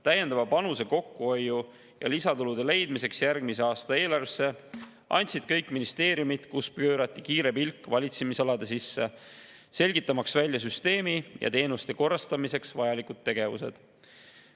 Täiendava panuse kokkuhoiu ja lisatulude leidmiseks järgmise aasta eelarvesse andsid kõik ministeeriumid, kus pöörati kiire pilk valitsemisaladele, selgitamaks välja süsteemi ja teenuste korrastamiseks vajalikud tegevused.